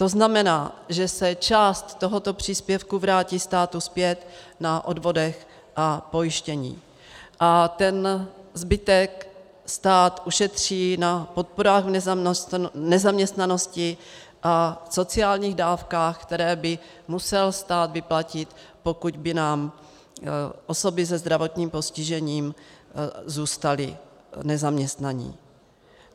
To znamená, že se část tohoto příspěvku vrátí státu zpět na odvodech a pojištění a ten zbytek stát ušetří na podporách v nezaměstnanosti a sociálních dávkách, které by musel stát vyplatit, pokud by nám osoby se zdravotním postižením zůstaly nezaměstnané.